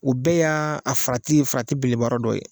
O bɛɛ y'aa a farati farati beleba yɔrɔ dɔ ye.